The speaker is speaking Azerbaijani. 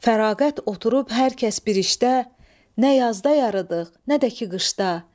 Fərağət oturub hər kəs bir işdə, nə yazda yarıdıq, nə də ki qışda.